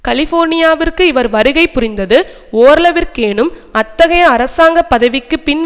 கலிபோர்னியாவிற்கு இவர் வருகை புரிந்தது ஓரளவிற்கேனும் அத்தகைய அரசாங்க பதவிக்கு பின்